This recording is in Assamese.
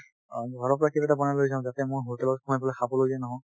ঘৰৰ পৰা কিবা এটা বনাই লৈ যাম যাতে মই hotel ত সোমাই খাবলৈ যেন নহয়